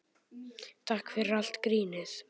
Takk fyrir allt grínið.